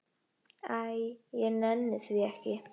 Æ, ég nenni því ekki.